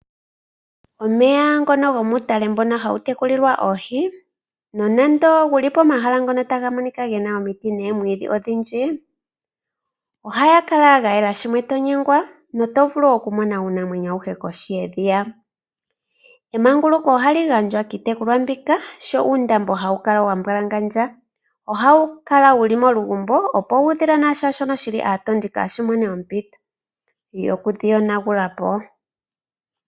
Omeya ngono gomuutale mbono ha wu tekulilwa oohi nonando wu li pomahala ngono ta ga monika ge na omiti noomwiidhi odhindji, ohaga kala ga yela shimwe to nyengwa, noto vulu okumona uunamwenyo awuhe kohi yedhiya. Emanguluko ohali gandjwa kiitekulwa mbika sho uundambo ha wu kala wa mbwalangandja. Oha wu kala wu li molugumbo opo uudhila nashaashono shili aatondi kaa shi mone ompito yoku dhi yonagula po.